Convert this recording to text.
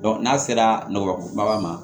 n'a sera nɔgɔko ma